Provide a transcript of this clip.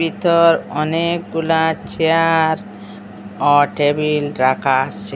এটার অনেকগুলা চেয়ার অ টেবিল রাখা আছে।